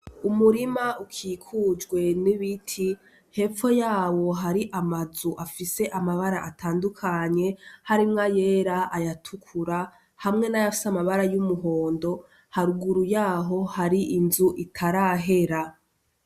Umurima ukikujwe n'ibiti, hepfo yawo hari amazu afise amabara atandukanye, harimwo ayera, ayatukura hamwe n'ayasa amabara y'umuhondo, haruguru yaho hari inzu itarahera.